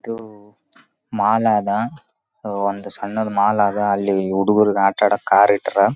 ಹುಡುಗುರಿಗ ಆಡಾಕ್ ಹಚ್ಯಾರ್ ಏನೊ ಗಾದಿಗೊಳ್. ಇರ್ತಾವ ಅವ್ ಏನೇನೋ ಕಲರ್ ಕಲರ್ ಲೈಟ್ಸ್ ಗೇಟ್ಸ್. ಭಾಳ್ ಚಂದ್ ಚಂದ್ ಇರ್ತಾವ ಹುಡುಗುರಿಗ್ ಆಡಾಕ್. ಹುಡುಗುರ್ ಭಾಳ್ ಎಂಜಾಯ್ ಮಾಡಾಕ ಏನರ ತಗಕ ಭಾಳ ಉಸ್ ಆಕ--